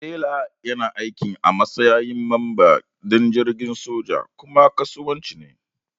Sailor yana aiki a matsayin mamba din jirgin soji ko na kasuwanci ne.